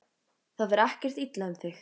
Það fer ekkert illa um þig?